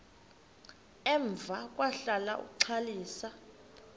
emva kwahlala uxalisa